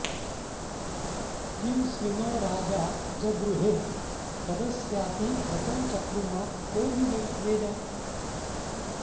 किं स्वि॑न्नो॒ राजा॑ जगृहे॒ कद॒स्याति॑ व्र॒तं च॑कृमा॒ को वि वे॑द